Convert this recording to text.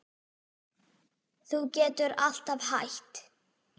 Þú getur alltaf hætt